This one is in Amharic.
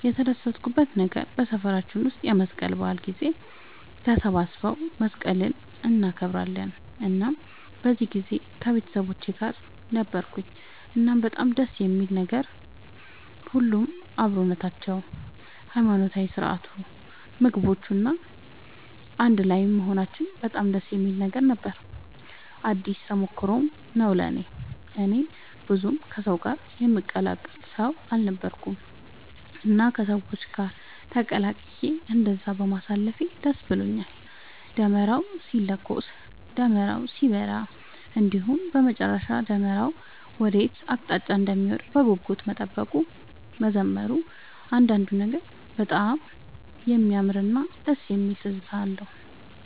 የተደሰትኩበት ነገር በሰፈራችን ውስጥ የመስቀል በዓል ጊዜ ተሰባስበው መስቀልን እናከብራለን እናም በዚህ ጊዜ ከቤተሰቦቼ ጋር ነበርኩኝ እናም በጣም ደስ የሚል ነበር። ሁሉም አብሮነታቸው፣ የሃይማኖታዊ ስርዓቱ፣ ምግቦቹ፣ እና አንድ ላይም መሆናችን በጣም ደስ የሚል ነበር ነው። አዲስ ተሞክሮም ነው ለእኔ። እኔ ብዙም ከሰው ጋር የምቀላቀል ሰው አልነበርኩኝም እና ከሰው ጋር ተቀላቅዬ እንደዛ በማሳለፌ ደስ ብሎኛል። ደመራው ሲለኮስ፣ ደመራው ሲበራ እንዲሁም በመጨረሻ ደመራው ወዴት አቅጣጫ እንደሚወድቅ በጉጉት መጠበቁ፣ መዘመሩ እያንዳንዱ ነገር በጣም የሚያምርና ደስ የሚል ትዝታ ነው።